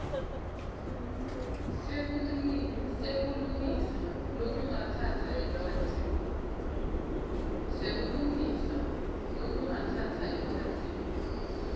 sekulungisa lokungatsatsa emkhatsini